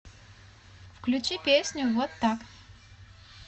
включи песню вот так